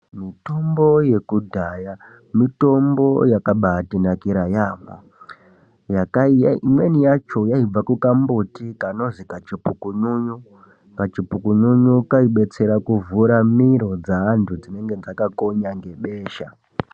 Mutombo yekudhaya mutombo yakabatinakira yambo, imweni yacho yaibva kukambuti kanozi kachipukunyunyu, kachipukunyunyu kaidetsera kuvhura miro dzeantu dzinenge dzakakonya ngebesha.